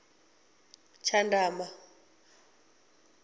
tshandama